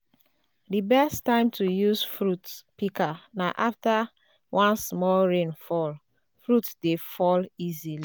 di best time to use fruit pika na afta wen small rain fall - fruit dey fall easily